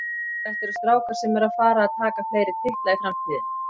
Þetta eru strákar sem eru að fara að taka fleiri titla í framtíðinni.